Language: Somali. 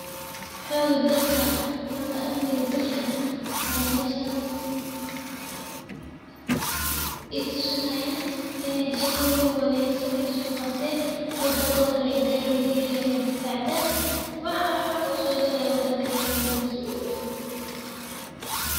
Xoga dalka ama amniga dalka aya meshan itusinaya inay shaqoyin wanagasan ay so qaten wadankodana ay diyar u yihin inay difacdan wxa xun o sogalahayo wadankana aya kamasulah.